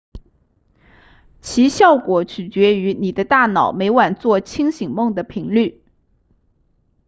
其效果取决于你的大脑每晚做清醒梦的频率